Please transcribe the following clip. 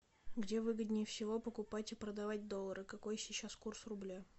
где выгоднее всего покупать и продавать доллары какой сейчас курс рубля